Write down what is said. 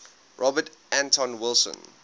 robert anton wilson